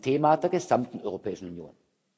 Es ist ein Thema der gesamten Europäischen Union.